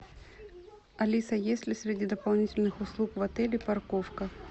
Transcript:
алиса есть ли среди дополнительных услуг в отеле парковка